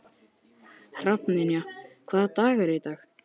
Hrafnynja, hvaða dagur er í dag?